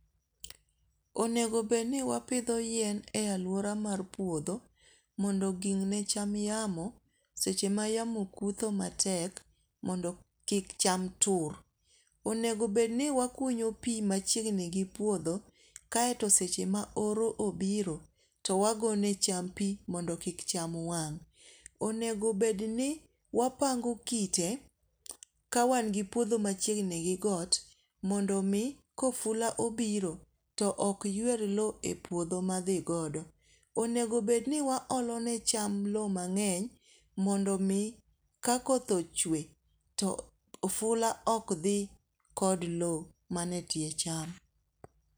Onego bed ni wapidho yien e aluora mar puodho mondo ging' ne cham yamo seche ma yamo kutho matek mondo kik cham tur. Onego bed ni wakunyo pi machiegni gi puodho kaeto seche ma oro obiro, to wagone cham pi mondo kik cham wang'. Onego bed ni wapango kite ka wan gi puodho machiegni gi got mondo mi kofula obiro to ok ywer low e puodho madhi godo. Onego bed ni wa olo ne cham low mang'eny mondo mi ka koth ochwe to ofula ok dhi kod low manie tie cham.